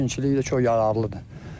İkincilik də çox yararlıdır.